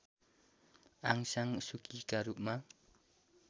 Aung San Suu Kyi का रूपमा